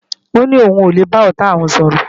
Ó ní òun kò lè bá ọ̀tá òun sọ̀rọ̀